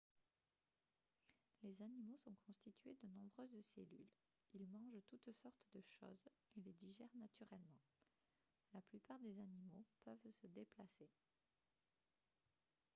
les animaux sont constitués de nombreuses cellules ils mangent toutes sortes de choses et les digèrent naturellement la plupart des animaux peuvent se déplacer